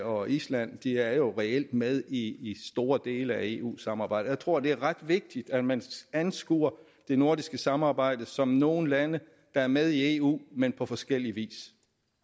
og island de er jo reelt med i store dele af eu samarbejdet jeg tror det er ret vigtigt at man anskuer det nordiske samarbejde som nogle lande der er med i eu men på forskellig vis